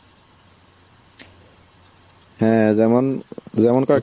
হ্যাঁ যেমন, যেমন কার